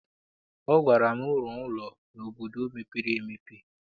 Ọ gwara m, rụọ ụlọ n'obodo mepere emepe!